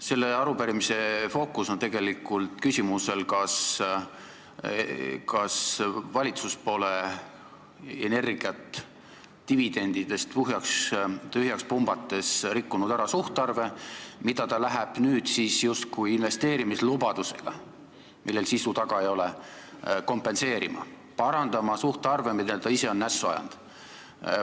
Selle arupärimise fookus on tegelikult küsimusel, kas valitsus pole Eesti Energiat dividendidest tühjaks pumbates rikkunud ära suhtarve, mida ta läheb nüüd justkui kompenseerima investeerimislubadusega, millel sisu taga ei ole, ja parandama suhtarve, mille ta ise on nässu ajanud.